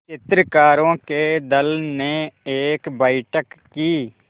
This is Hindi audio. चित्रकारों के दल ने एक बैठक की